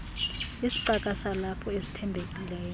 isicaka salapho esithembekileyo